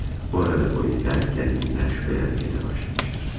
Bu arada polislər kəndisindən şübhələnməyə də başlamışdır.